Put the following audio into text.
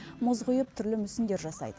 мұз құйып түрлі мүсіндер жасайды